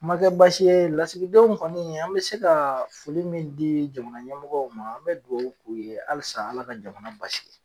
Kuma kɛ baasi ye lasigidenw kɔni, an mɛ se ka foli min di jamana ɲɛmɔgɔw ma, an bɛ dugawu k'u ye halisa Ala ka jamana basigi ?